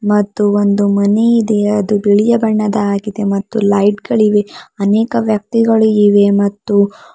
ಮತ್ತು ಒಂದು ಮನೆ ಇದೆ ಅದು ಬಿಳಿಯ ಬಣ್ಣದಾಗಿದೆ ಮತ್ತು ಲೈಟ್ ಗಳಿವೆ ಅನೇಕ ವ್ಯಕ್ತಿಗಳು ಇವೆ ಮತ್ತು--